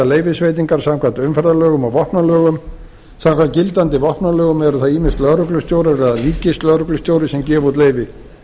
leyfisveitingar samkvæmt umferðarlögum og vopnalögum samkvæmt gildandi vopnalögum eru það ýmist lögreglustjórar eða ríkislögreglustjóri sem gefa út leyfi